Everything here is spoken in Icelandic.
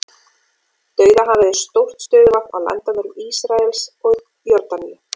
Dauðahafið er stórt stöðuvatn á landamærum Ísraels og Jórdaníu.